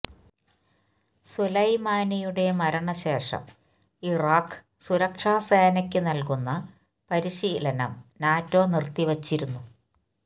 സുലൈമാനിയുടെ മരണശേഷം ഇറാഖ് സുരക്ഷാ സേനയ്ക്ക് നല്കുന്ന പരിശീലനം നാറ്റോ നിര്ത്തിവച്ചിരുന്നു